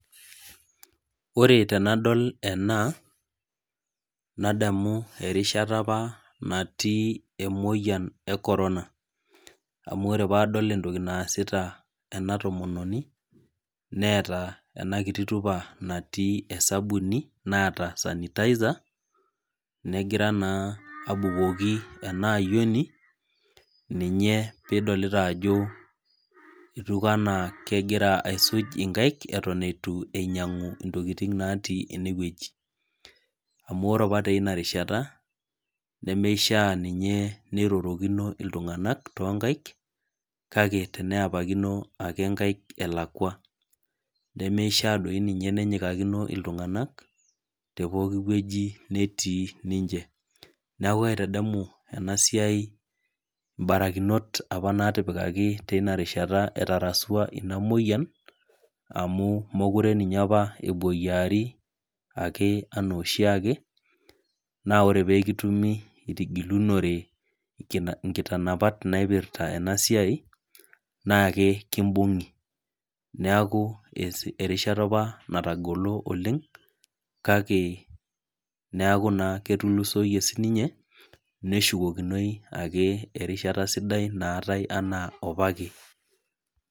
Ore tenadol ena, nadamu erishata apa natii emoyian e corona. Amu ore padol entoki naasita ena tomononi, neeta enakiti tupa natii esabuni, naata sanitizer, negira abukoki enaayioni, ninye pidolita ajo etiu enaa kegira aisuj inkaik eton itu einyang'u intokiting natii enewueji. Amu ore apa teinarishata, nemeishaa ninye nirorokino iltung'anak tonkaik, kake teneepakino ake inkaik elakwa. Nemeishaa doi ninye nenyikakino iltung'anak, tepooki wueji netii ninche. Neeku kaitadamu enasiai ibarakinot apa natipikaki teinarishata etarasua ina moyian, amu mokure ninye apa epoyiari ake enooshiake, naa ore pekitumi itigilunore inkitanapat naipirta enasiai, nake kibung'i. Neeku erishata apa natagolo oleng, kake neeku naa ketulusoyie sininye, neshukokinoi ake erishata sidai naatai enaa apake.